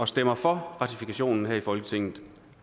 stemmer for ratifikationen her i folketinget